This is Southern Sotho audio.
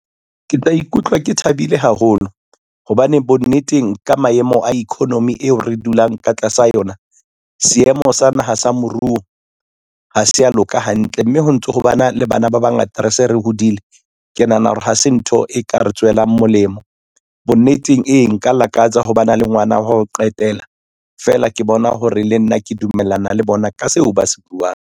Ke tla ikutlwa ke thabile haholo, hobane bonneteng, ka maemo a economy eo re dulang ka tlasa yona, seemo sa naha sa moruo, ha se a loka hantle mme ho ntso ho ba na le bana ba bangata re se re hodile, ke nahana hore ha se ntho e ka re tswelang molemo. Bonneteng, e nka lakatsa ho ba na le ngwana wa ho qetela, fela ke bona hore le nna ke dumellana le bona ka seo ba se buang.